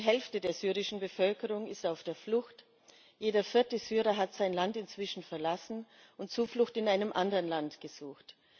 Die Hälfte der syrischen Bevölkerung ist auf der Flucht, jeder vierte Syrer hat sein Land inzwischen verlassen und Zuflucht in einem anderen Land gesucht.